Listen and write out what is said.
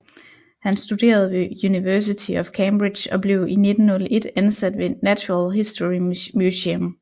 Han studerede ved University of Cambridge og blev i 1901 ansat ved Natural History Museum